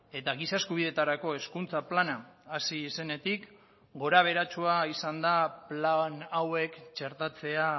eta giza eskubideetarako hezkuntza plana hasi zenetik gorabeheratsua izan da plan hauek txertatzea